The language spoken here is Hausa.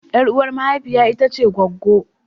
Yar uwa mahaifiya ita ce gwaggwo.